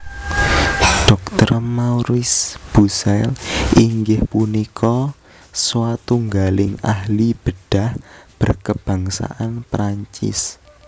Dr Maurice Bucaille inggih punika swatunggaling ahli bedah berkebangsaan Perancis